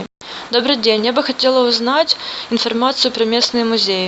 добрый день я бы хотела узнать информацию про местные музеи